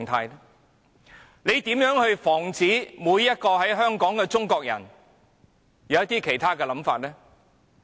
他們如何可以防止每一個在香港的中國人有其他想法呢？